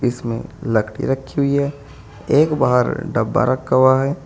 इसमें लकड़ी रखी हुई है एक बाहर डब्बा रखा हुआ है।